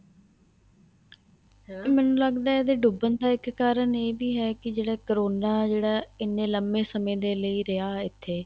ਮੈਨੂੰ ਲੱਗਦਾ ਹੈ ਇਹਦੇ ਡੁੱਬਣ ਦਾ ਇੱਕ ਕਾਰਨ ਇਹ ਵੀ ਹੈ ਕੀ ਜਿਹੜਾ ਕਰੋਨਾ ਇੰਨੇ ਲੰਬੇ ਸਮੇਂ ਦੇ ਲਈ ਰਹਿਆ ਇੱਥੇ